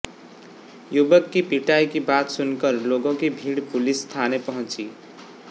युवक की पिटाई की बात सुनकर लोगों की भीड़ पुलिस थाने पहुंची